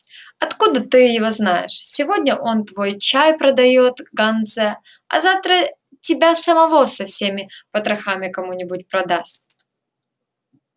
откуда ты его знаешь сегодня он твой чай продаёт ганзе а завтра тебя самого со всеми потрохами кому-нибудь продаст